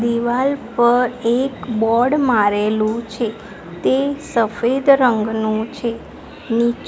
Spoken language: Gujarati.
દીવાલ પર એક બોર્ડ મારેલુ છે તે સફેદ રંગનુ છે. નીચ --